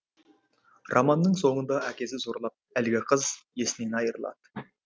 романның соңында әкесі зорлап әлгі қыз есінен айырылады